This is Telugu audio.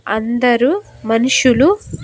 అందరు మనుషులు--